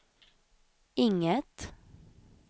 inget